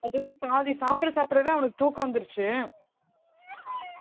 எப்பவுமே பாதி சாப்பிட சாப்பிடவே அவனுக்கு தூக்கம் வந்துருச்சு